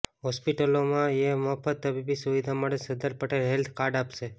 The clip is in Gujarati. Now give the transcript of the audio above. હોસ્પિટલોમાં યે મફત તબીબી સુવિધા મળે સરદાર પટેલ હેલ્થ કાર્ડ અપાશે